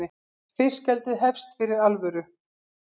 Fiskeldið hefst fyrir alvöru